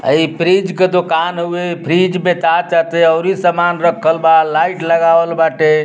अ इ फ्रिज के दुकान हउए। फ्रिज बेचा ताटे। अउरी समान रखल बा। लाइट लगावल बाटे।